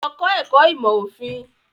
Lọ kọ́ ẹ̀kọ́ ìmọ̀ òfin.